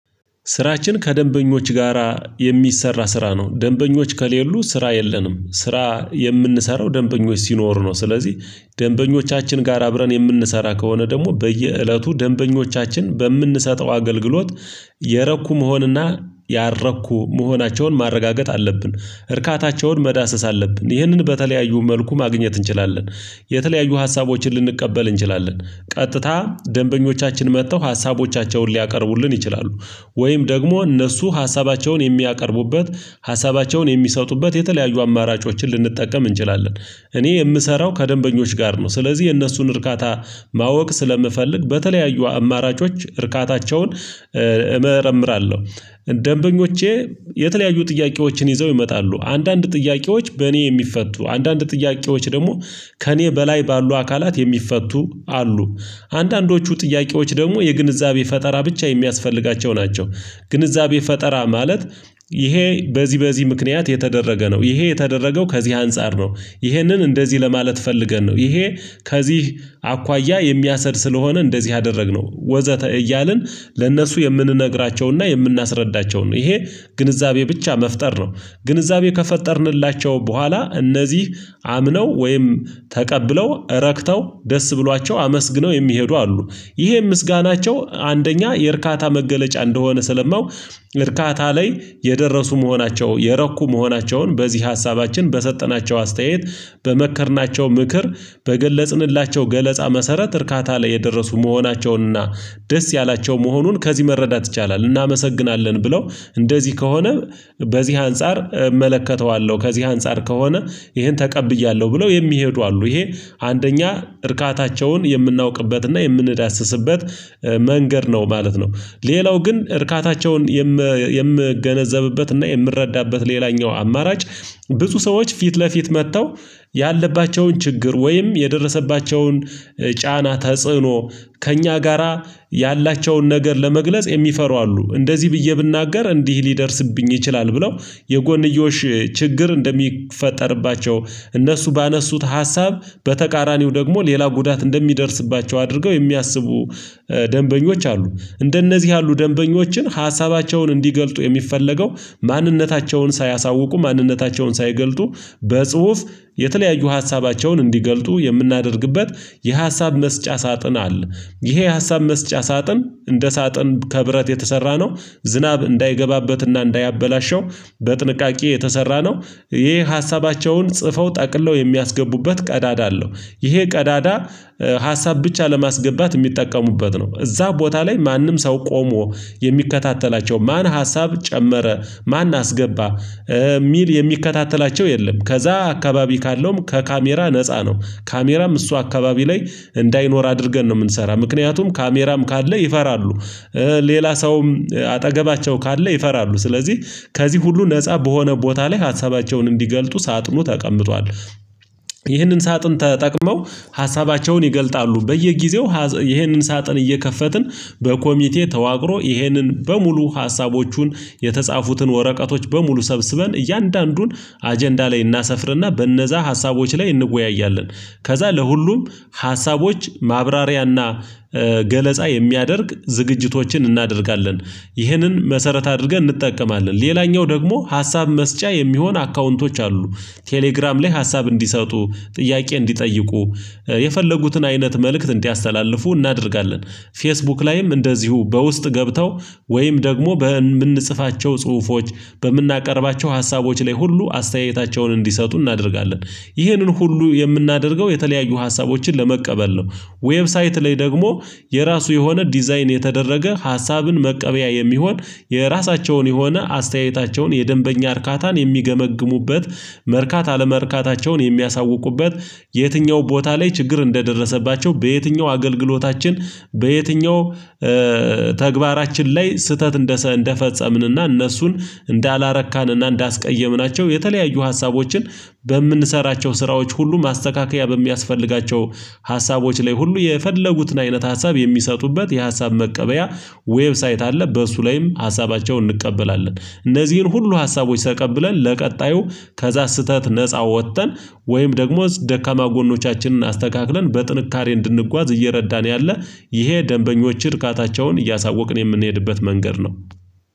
ስራችን ከደንበኞች ጋራ የሚሰራ ስራ ነው። ደንበኞች ከሌሉ ስራ የለንም። ስራ የምንሰራው ደንበኞች ሲኖሩ ነው። ስለዚህ ደንበኞቻችን ጋር አብረን የምንሰራ ከሆነ ደግሞ በየእለቱ ደንበኞቻችን በምንሰጠው አገልግሎት የረኩ መሆንና ያረኩ መሆናቸውን ማረጋገጥ አለብን። እርካታቸውን መዳሰስ አለብን ይህንን በተለያዩ መልኩ ማግኘት እንችላለን። የተለያዩ ሀሳቦችን ልንቀበል እንችላለን። ቀጥታ ደንበኞቻችን መጥተው ሀሳቦቻቸውን ሊያቀርቡልን ይችላሉ። ወይም ደግሞ እነሱ ሀሳባቸውን የሚያቀርቡበት ሀሳባቸውን የሚሰጡበት የተለያዩ አማራጮችን ልንጠቀም እንችላለን። እኔ የምሰራው ከደንበኞች ጋር ነው። ስለዚህ የእነሱን እርካታ ማወቅ ስለምፈልግ በተለያዩ አማራጮች እርካታቸውን እመረምራለሁ። ደንበኞቼ የተለያዩ ጥያቄዎችን ይዘው ይመጣሉ። አንዳንድ ጥያቄዎች በእኔ የሚፈቱ አንዳንድ ጥያቄዎች ደግሞ ከእኔ በላይ ባሉ አካላት የሚፈቱ አሉ። አንዳንዶቹ ጥያቄዎች ደግሞ የግንዛቤ ፈጠራ ብቻ የሚያስፈልጋቸው ናቸው። ግንዛቤ ፈጠራ ማለት ይሄ በዚህ በዚህ ምክንያት የተደረገ ነው፤ ይሄ የተደረገው ከዚህ አንፃር ነው፤ ይሄንን እንደዚህ ለማለት ፈልገን ነው፤ ይሄ ከዚህ አኳያ የሚያሰሄድ ስለሆነ እንደዚህ አደረግነው፤ ወዘተ እያልን ለነሱ የምንነግራቸውና የምናስረዳቸው ነው። ይሄ ግንዛቤ ብቻ መፍጠር ነው። ግንዛቤ ከፈጠርንላቸው በኋላ እነዚህ አምነው ወይም ተቀብለው ረክተው ደስ ብሏቸው አመስግነው የሚሄዱ አሉ። ይሄ ምስጋናቸው አንደኛ የእርካታ መገለጫ እንደሆነ ስለማው እርካታ ላይ የደረሱ መሆናቸው የረኩ መሆናቸውን በዚህ ሀሳባችን በሰጠናቸው አስተያየት በመከርናቸው ምክር በገለጽንላቸው ገለጻ መሰረት እርካታ ላይ የደረሱ መሆናቸውንና ደስ ያላቸው መሆኑን ከዚህ መረዳት ይቻላል። እናመሰግናለን ብለው እንደዚህ ከሆነ በዚህ አንፃር እመለከተዋለሁ፤ ከዚህ አንፃር ከሆነ ይሄን ተቀብያለሁ ብለው የሚሄዱ አሉ። ይሄ አንደኛ እርካታቸውን የምናውቅበትና የምንዳስስበት መንገድ ነው ማለት ነው። ሌላው ግን እርካታቸውን የምገነዘብበት እና የምረዳበት ሌላኛው አማራጭ ብዙ ሰዎች ፊት ለፊት መጥተው ያለባቸውን ችግር ወይም የደረሰባቸውን ጫና ተጽዕኖ ከእኛ ጋራ ያላቸውን ነገር ለመግለጽ የሚፈሩ አሉ። እንደዚህ ብዬ ብናገር እንዲህ ሊደርስብኝ ይችላል፤ ብለው የጎንዮሽ ችግር እንደሚፈጠርባቸው እነሱ ባነሱት ሀሳብ በተቃራኒው ደግሞ ሌላ ጉዳት እንደሚደርስባቸው አድርገው የሚያስቡ ደንበኞች አሉ። እንደነዚህ ያሉ ደንበኞችን ሀሳባቸውን እንዲገልጡ የሚፈለገው ማንነታቸውን ሳያሳውቁ ማንነታቸውን ሳይገልጡ በጽሁፍ የተለያዩ ሀሳባቸውን እንዲገልጡ የምናደርግበት የሀሳብ መስጫ ሳጥን አለ። ይሄ የሀሳብ መስጫ ሳጥን እንደ ሳጥን ከብረት የተሰራ ነው። ዝናብ እንዳይገባበትና እንዳያበላሸው በጥንቃቄ የተሰራ ነው። ይሄ ሀሳባቸውን ጽፈው ጠቅለው የሚያስገቡበት ቀዳዳ አለው። ይሄ ቀዳዳ ሀሳብ ብቻ ለማስገባት የሚጠቀሙበት ነው። እዛ ቦታ ላይ ማንም ሰው ቆሞ የሚከታተላቸው ማን ሀሳብ ጨመረ ማን አስገባ የሚል የሚከታተላቸው የለም። ከዛ አካባቢ ካለውም ከካሜራ ነፃ ነው። ካሜራም እሱ አካባቢ ላይ እንዳይኖር አድርገን ነው የምንሰራው። ምክንያቱም ካሜራም ካለ ይፈራሉ። ሌላ ሰውም አጠገባቸው ካለ ይፈራሉ። ስለዚህ ከዚህ ሁሉ ነፃ በሆነ ቦታ ላይ ሀሳባቸውን እንዲገልጡ ሳጥኑ ተቀምጧል። ይህንን ሳጥን ተጠቅመው ሀሳባቸውን ይገልጣሉ። በየጊዜው ይሄንን ሳጥን እየከፈትን በኮሚቴ ተዋቅሮ ይሄንን በሙሉ ሀሳቦቹን የተጻፉትን ወረቀቶች በሙሉ ሰብስበን እያንዳንዱን አጀንዳ ላይ እናሰፍርና በነዛ ሀሳቦች ላይ እንወያያለን። ከዛ ለሁሉም ሀሳቦች ማብራሪያና ገለጻ የሚያደርግ ዝግጅቶችን እናደርጋለን። ይህንን መሰረት አድርገን እንጠቀማለን። ሌላኛው ደግሞ ሀሳብ መስጫ የሚሆን አካውንቶች አሉ። ቴሌግራም ላይ ሀሳብ እንዲሰጡ ጥያቄ እንዲጠይቁ የፈለጉትን አይነት መልእክት እንዲያስተላልፉ እናደርጋለን። ፌስቡክ ላይም እንደዚሁ በውስጥ ገብተው ወይም ደግሞ በምንጽፋቸው ጽሁፎች በምናቀርባቸው ሀሳቦች ላይ ሁሉ አስተያየታቸውን እንዲሰጡ እናደርጋለን። ይህንን ሁሉ የምናደርገው የተለያዩ ሀሳቦችን ለመቀበል ነው። ዌብሳይት ላይ ደግሞ የራሱ የሆነ ዲዛይን የተደረገ ሀሳብን መቀበያ የሚሆን የራሳቸውን የሆነ አስተያየታቸውን የደንበኛ እርካታን የሚገመግሙበት፣ መርካታ አለመርካታቸውን የሚያሳውቁበት፣ የትኛው ቦታ ላይ ችግር እንደደረሰባቸው፣ በየትኛው አገልግሎታችን በየትኛው ተግባራችን ላይ ስህተት እንደፈጸምንና እነሱን እንዳላረካንና እንዳስቀየምናቸው የተለያዩ ሀሳቦችን በምንሰራቸው ስራዎች ሁሉ ማስተካከያ በሚያስፈልጋቸው ሀሳቦች ላይ ሁሉ የፈለጉትን አይነት ሀሳብ የሚሰጡበት የሀሳብ መቀበያ ዌብሳይት አለ። በእሱ ላይም ሀሳባቸውን እንቀበላለን። እነዚህን ሁሉ ሀሳቦች ተቀብለን ለቀጣዩ ከዛ ስህተት ነፃ ወጥተን ወይም ደግሞ ደካማ ጎኖቻችንን አስተካክለን በጥንካሬ እንድንጓዝ እየረዳን ያለ ይሄ ደንበኞች እርካታቸውን እያሳወቅን የምንሄድበት መንገድ ነው።